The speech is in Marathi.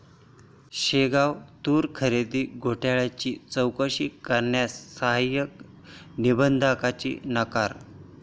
शेगाव तूर खरेदी घोटाळ्याची चौकशी करण्यास सहाय्यक निबंधकाचा नकार